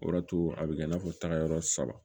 O y'a to a bɛ kɛ i n'a fɔ taga yɔrɔ saba